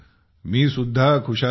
मी सुद्धा खुशाल आहे